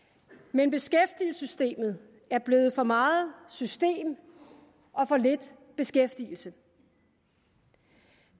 men beskæftigelsessystemet er blevet for meget system og for lidt beskæftigelse